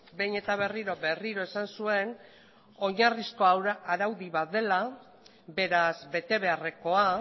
behin eta berriro berriro esan zuen oinarrizko araudi bat dela beraz betebeharrekoa